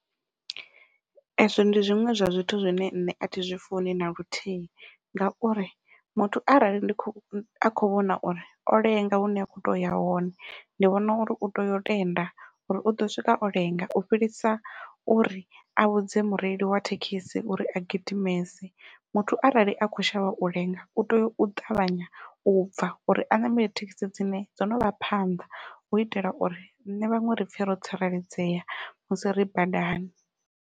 Ezwo ndi zwiṅwe zwa zwithu zwine nṋe athi zwi funi naluthihi, ngauri muthu arali ndi kho a kho vhona uri o lenga hune a kho toya uya hone ndi vhona uri u tea u tenda uri uḓo swika o lenga u fhirisa uri a vhudze mureili wa thekhisi uri a gidimese muthu arali a khou shavha u lenga u tea u ṱavhanya u bva uri a ṋamele thekhisi dzine dzo novha phanḓa hu itela uri riṋe vhaṅwe ri pfhe ro tsireledzea musi ri badani.